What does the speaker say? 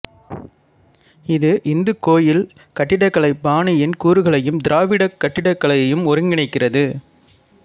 இது இந்துக் கோயில் கட்டிடக்கலை பாணியின் கூறுகளையும் திராவிடக் கட்டிடக்கலையையும் ஒருங்கிணைக்கிறது